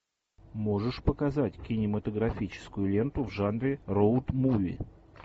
можешь показать кинематографическую ленту в жанре роуд муви